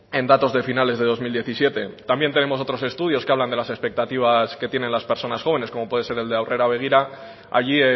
en datos de finales de dos mil diecisiete también tenemos otros estudios que hablan de las expectativas que tienen las personas jóvenes como puede ser el aurrera begira allí